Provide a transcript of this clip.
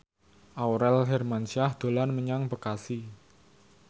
Aurel Hermansyah dolan menyang Bekasi